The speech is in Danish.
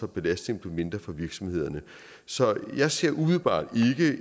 belastningen blev mindre for virksomhederne så jeg ser umiddelbart